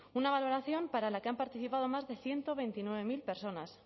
una valoración para la que han participado más de ciento veintinueve mil personas